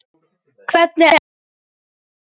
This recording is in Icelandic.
Hvernig er með húsið þitt